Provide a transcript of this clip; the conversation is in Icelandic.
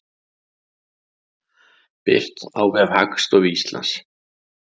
Birt á vef Hagstofu Íslands.